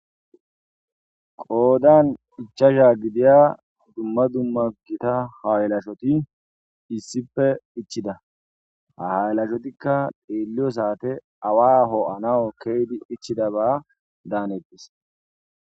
Qoodan ichchacha gidiza dumma dumma gitta haylashshot issipe ichchid ha haylashotika Xello sate Awa ho'anaw ichidaba danetes